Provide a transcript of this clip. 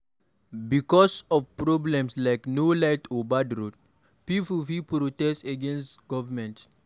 Bicos of problems like no light or bad road, pipo fit protest against government